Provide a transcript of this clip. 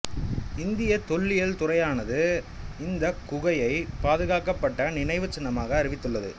இந்திய தொல்லியல் துறையானது இந்தக் குகையை பாதுகாக்கப்பட்ட நினைவுச்சின்னமாக அறிவித்துள்ளது